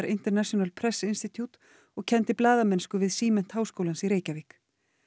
International press Institute og kenndi blaðamennsku við Símennt Háskólans í Reykjavík